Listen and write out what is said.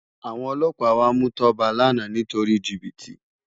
Awòn òlòpá wá mú Toba làná nitóri jibiti